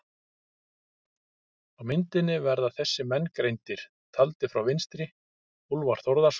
Á myndinni verða þessir menn greindir, taldir frá vinstri: Úlfar Þórðarson